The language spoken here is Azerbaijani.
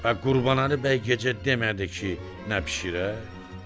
Bə Qurbanəli bəy gecə demədi ki, nə bişirək?